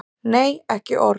Nei, ekki orð.